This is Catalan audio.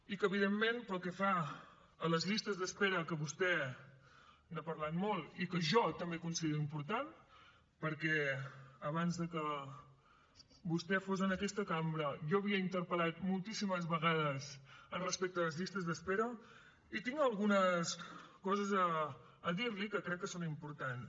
i que evidentment pel que fa a les llistes d’espera que vostè n’ha parlat molt i que jo també considero important perquè abans de que vostè fos en aquesta cambra jo havia interpel·lat moltíssimes vegades respecte a les llistes d’espera i tinc algunes coses a dir li que crec que són importants